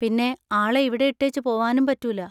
പിന്നെ, ആളെ ഇവിടെ ഇട്ടേച്ചു പോവാനും പറ്റൂല.